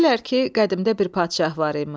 Deyirlər ki, qədimdə bir padşah var imiş.